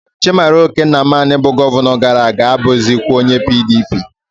Chimaroke nnamani bu Gọvanọ gara-aga abughizikwa onye PDP